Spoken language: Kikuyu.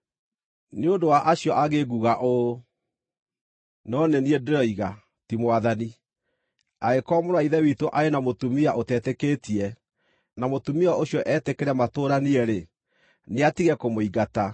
Nĩ ũndũ wa acio angĩ nguuga ũũ, no nĩ niĩ ndĩroiga, ti Mwathani: Angĩkorwo mũrũ wa Ithe witũ arĩ na mũtumia ũtetĩkĩtie, na mũtumia ũcio etĩkĩre matũũranie-rĩ, nĩatige kũmũingata.